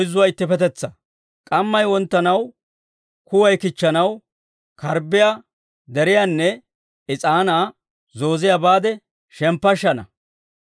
K'ammay wonttanaw, kuway kichchanaw, karbbiyaa deriyaanne is'aanaa zooziyaa baade shemppashshana.